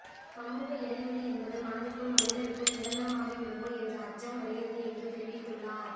சமூக இடைவெளி என்பது மனதுக்குள் மனிதருக்குள் நிரந்தரமாகி விடுமோ என்று அச்சம் வருகிறது என்று தெரிவித்துள்ளார்